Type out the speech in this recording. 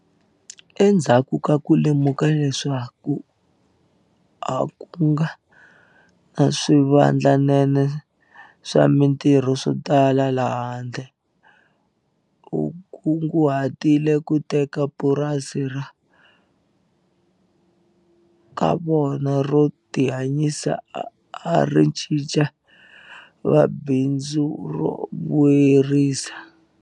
Endzhaku ka ku lemuka leswaku a ku nga ri na swivandlanene swa mitirho swo tala le handle, u kunguhatile ku teka purasi ra ka vona ro tihanyisa a ri cinca ri va bindzu ro vuyerisa.